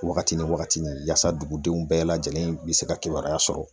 Wagati ni wagati ni yasa dugudenw bɛɛ lajɛlen be se ka kibaruya sɔrɔ